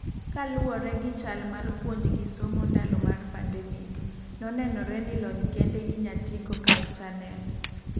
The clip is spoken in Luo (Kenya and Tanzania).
ka luore gi chal mar puonj gi somo ndalo mar pandemic , nonenore ni lony kende inyatigo kak channel